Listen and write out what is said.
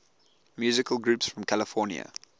musical groups from california